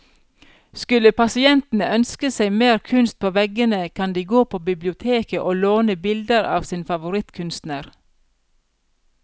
Skulle pasientene ønske seg mer kunst på veggene, kan de gå på biblioteket å låne bilder av sin favorittkunstner.